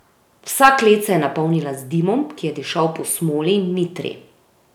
Vsa klet se je napolnila z dimom, ki je dišal po smoli in mitri.